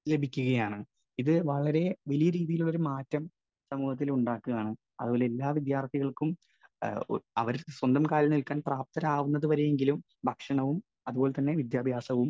Speaker 1 ലഭിക്കുകയാണ്. ഇത് വളരെ വലിയ രീതിയിലുള്ള ഒരു മാറ്റം സമൂഹത്തിൽ ഉണ്ടാക്കുകയാണ്. അതുപോലെ എല്ലാ വിദ്യാർഥികൾക്കും അവർ സ്വന്തം കാലിൽ നില്ക്കാൻ പ്രാപ്തരാകുന്നതുവരെയെങ്കിലും ഭക്ഷണവും അതുപോലെതന്നെ വിദ്യാഭ്യാസവും